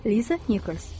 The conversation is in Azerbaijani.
Liza Nikers.